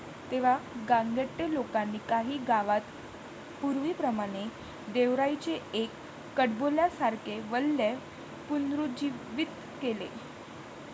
तेव्हा गांगटे लोकांनी काही गावात पूर्वीप्रमाणे देवराईचे एक कडबोल्यासारखे वलय पुनरुज्जीवित केले.